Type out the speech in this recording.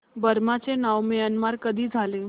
Burma चे नाव Myanmar कधी झाले